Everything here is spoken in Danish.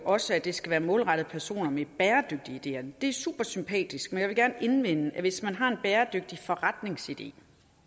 også at det skal være målrettet personer med bæredygtige ideer det er super sympatisk men jeg vil gerne indvende at hvis man har en bæredygtig forretningsidé